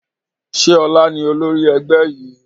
Ṣé ọlá ni olórí ẹgbẹ́ yìí?